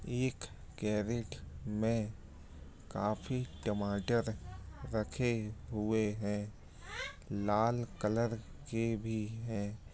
एक कैरट में काफी टमाटर रखे हुए हे लाल कलर के भी हे --